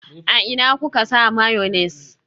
A ina kuka sa mayonnaise?